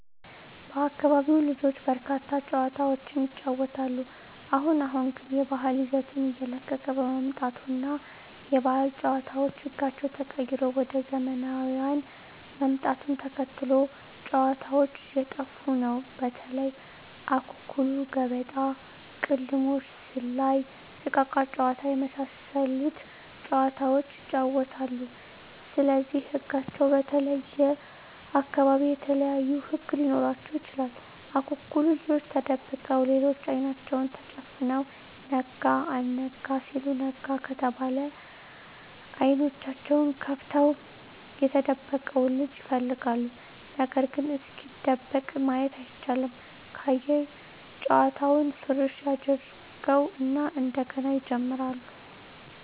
በአካቢው ልጆች በርካታ ጨዋታዎችን ይጫወታሉ አሁን አሁን ግን የባህል ይዘቱን እየለቀቀ በመምጣቱ እና የባህል ጨዋታዎች ህጋቸው ተቀይሮ ወደ ዘመናውያን ምጣቱን ተከትሎ ጨዎታዎች እየጠፉ ነው በተለይ:- አኩኩሉ ገበጣ: ቅልሞሽ ዝላይ እቃቃ ጨዎታ የመሣሠሉት ጨዋታዎች ይጫወታሉ ስለዚህ ህጋቸው በተለየየ አካባቢ የተለያዩ ህግ ሊኖራቸው ይችላል አኩኩሉ ልጆች ተደብቀው ሌሎች አይናቸውን ተጨፍነው ነጋ አልጋ ሲሉ ነጋ ከተባለ አይኔናቸውን ከፍተው የተደበቀውን ልጅ ይፈልጋሉ ነገርግ እስኪደበቅ ማየት አይቻልም ካየ ጨዋታውን ፉረሽ ያጀርገው እና እንደገና ይጀምራሉ።